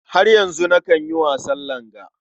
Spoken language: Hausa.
Har yanzu nakan yi wasan langa.